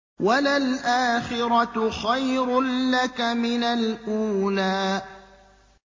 وَلَلْآخِرَةُ خَيْرٌ لَّكَ مِنَ الْأُولَىٰ